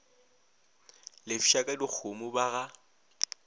lefša ka dikgomo ba ga